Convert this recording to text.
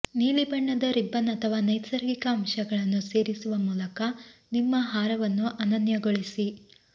ನೀಲಿಬಣ್ಣದ ribbon ಅಥವಾ ನೈಸರ್ಗಿಕ ಅಂಶಗಳನ್ನು ಸೇರಿಸುವ ಮೂಲಕ ನಿಮ್ಮ ಹಾರವನ್ನು ಅನನ್ಯಗೊಳಿಸಿ